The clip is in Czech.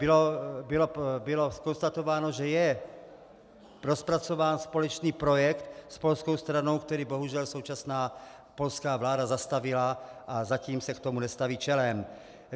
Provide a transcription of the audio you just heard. Bylo konstatováno, že je rozpracován společný projekt s polskou stranou, který bohužel současná polská vláda zastavila, a zatím se k tomu nestaví čelem.